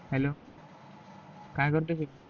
ब hello काय करतो कि